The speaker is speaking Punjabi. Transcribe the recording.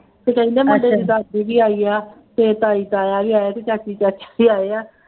ਅਤੇ ਕਹਿੰਦੇ ਮੁੰਡੇ ਦੇ ਦੀ ਦਾਦੀ ਵੀ ਆਈ ਹੈ ਅਤੇ ਤਾਈ ਤਾਇਆਂ ਵੀ ਆਏ ਹੈ ਅਤੇ ਚਾਚੀ ਚਾਚਾ ਵੀ ਆਏ ਹੈ